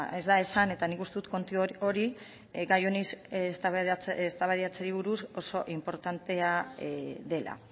ez da esan eta nik uste dut kontu hori gai honi eztabaidatzeari buruz oso inportantea dela